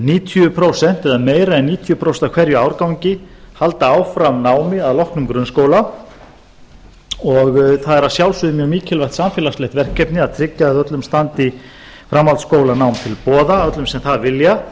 níutíu prósent eða meira en níutíu prósent af hverjum árgangi halda áfram námi að loknum grunnskóla og það er að sjálfsögðu mjög mikið samfélagslegt verkefni að tryggja að öllum standi framhaldsskólanám til boða öllum sem það vilja